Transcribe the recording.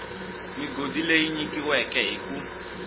migodi leyi nyikiweke hi ku